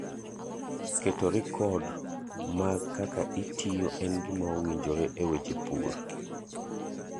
Keto rikod mag kaka itiyo en gima owinjio e weche pur.